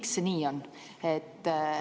Miks see nii on?